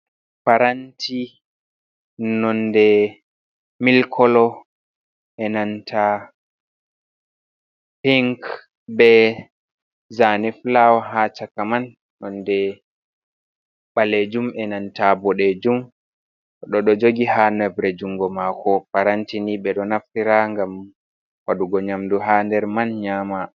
Paranti, Nonde mil kolo e nanta pink, be zaane fulawa haa chaka man, nonde mɓaleejum e nanta ɓoɗeejum, goɗɗo ɗon goji ha nebre junngo maako, paranti ni ɓeɗo naftira ngam waɗugo nyamdu ha nder man nyama.